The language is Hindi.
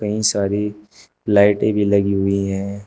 कइ सारी लाइटें भी लगी हुई है।